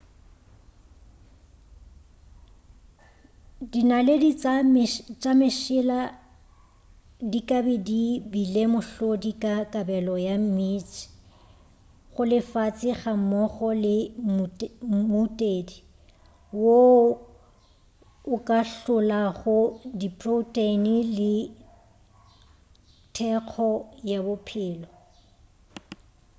dinaledi tša mesela di ka be di bile mohlodi wa kabelo ya meetse go lefase gammogo le mmutedi woo o ka hlolago diproteine le thekgo ya bophelo